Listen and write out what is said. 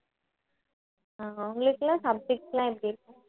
அஹ் உங்களுக்கெல்லாம் subjects எல்லாம் எப்படி இருக்கும்